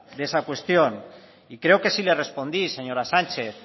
de esa cuestión y creo que sí le respondí señora sánchez